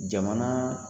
Jamana